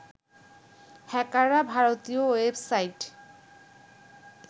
হ্যাকররা ভারতীয় ওয়েবসাইট